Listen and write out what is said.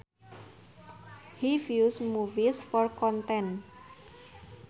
He views movies for content